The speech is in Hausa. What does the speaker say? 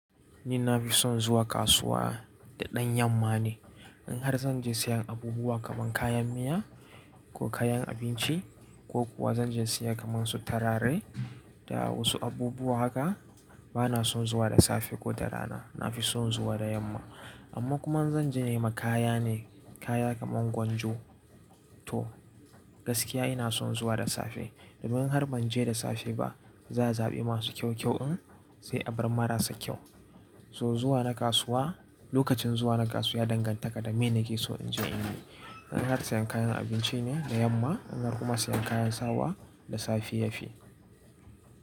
Ni na fi son zuwa kasuwa da ɗan yamma ne. In har zan je sayan abubuwa kaman kayan miya, ko kayan abinci, ko kuwa zan je siya kamansu turare, da wasu abubuwa haka, bana son zuwa da safe ko da rana. Na fi son zuwa da yamma. Amma kuma in zan je nema kaya ne, kaya kaman gwanjo to gaskiya ina son zuwa da safe. Domin in har ban je da safe ba, za a zaɓe masu kyau kyau din sai abar marasa kyau. So zuwa na kasuwa, lokacin zuwa na kasuwa ya dangantaka da me nake so in je in yi. In har sayan kayan abinci ne da yamma, in har kuma sayan kayan sawa da safe ya fi.